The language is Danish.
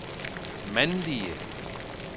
mandlige